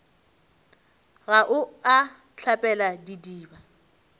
ga o a hlapela didiba